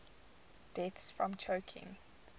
deaths from choking